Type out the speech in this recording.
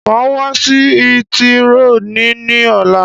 Màá wá sí hítírò ni ní ọ̀la.